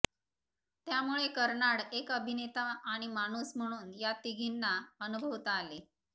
त्यामुळे कर्नाड एक अभिनेता आणि माणूस म्हणून या तिघींना अनुभवता आले